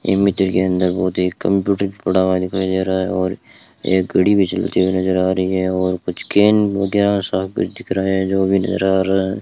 इस चित्र के अंदर कंप्यूटर भी पड़ा दिखाई दे रहा है और एक घड़ी भी चलती हुई नजर आ रही है और कुछ केन वगैरहा सब कुछ दिख रहा है जो भी नज़र आ रहा है।